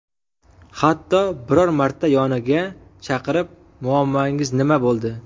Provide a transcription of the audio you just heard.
Hatto biror marta yoniga chaqirib, muammongiz nima bo‘ldi?